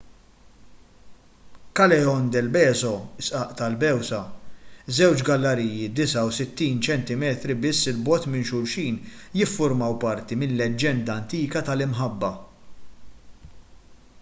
callejon del beso is-sqaq tal-bewsa. żewġ galleriji 69 ċentimetri biss 'il bogħod minn xulxin jiffurmaw parti minn leġġenda antika tal-imħabba